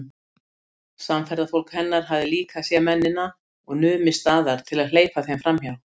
Samferðafólk hennar hafði líka séð mennina og numið staðar til að hleypa þeim framhjá.